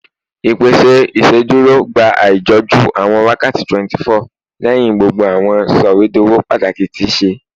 Ipese iṣeduro gba aijọju awọn wakati 24 lẹhin gbogbo awọn sọwedowo pataki ti ṣe